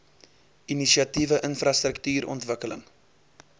inisiatiewe infrastruktuur ontwikkeling